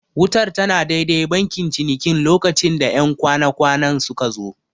Wutar tana dai-dai bankin cinikin lokacin da 'yan kwana-kwanan suka zo.